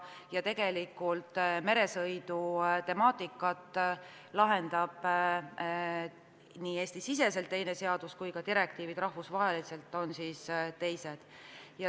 Ja meresõidu temaatikat käsitleb Eesti-siseselt teine seadus ja ka rahvusvaheliselt kehtivad direktriivid on teised.